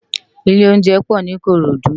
Ilé óunjẹ pò ni Ikorodu